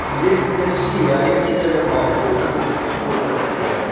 лекси такси алексей реально мафия вот этот ход от тебя